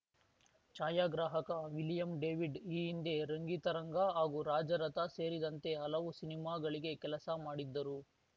ಛಾಯಾಗ್ರಾಹಕ William David ಈ ಹಿಂದೆ ರಂಗಿತರಂಗ ಹಾಗೂ ರಾಜರಥ ಸೇರಿದಂತೆ ಹಲವು ಸಿನಿಮಾಗಳಿಗೆ ಕೆಲಸ ಮಾಡಿದ್ದರು